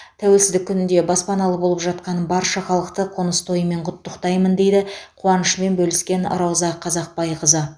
тәуелсіздік күнінде баспаналы болып жатқан барша халықты қоныс тойымен құттықтаймын дейді қуанышымен бөліскен рауза қазақбайқызы